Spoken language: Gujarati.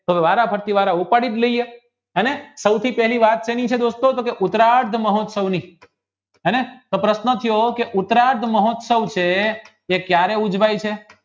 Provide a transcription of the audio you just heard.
તો વારાફરતી વારા ઉપાડી જ લય્યે અને સૌ થી પહેલી વાત કરી છે દોસ્તો ઉતરાત મહોત્સવની અને પ્રશ્ન કેવો કે ઉતરાત મહોત્સવ છે એ કયારે ઉજવાય છે